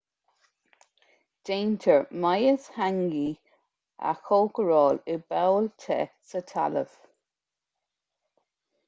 déantar mias hangi a chócaráil i bpoll te sa talamh